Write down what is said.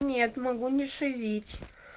нет могу не шизить